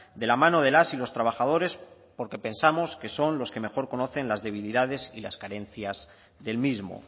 de la mano de las y los trabajadores porque pensamos que son los que mejor conocen las debilidades y las carencias del mismo